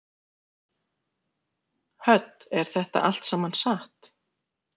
Hödd: Er þetta allt saman satt?